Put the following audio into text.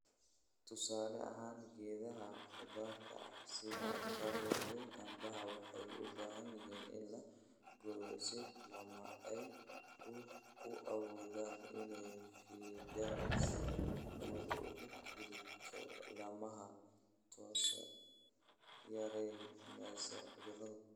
"Tusaale ahaan geedaha khudaarta ah (sida avocado iyo canbaha) waxay u baahan yihiin in la gooyo si laamaha ay u awoodaan inay fidaan si hawadu uga gudubto laamaha, taasoo yaraynaysa cudurrada."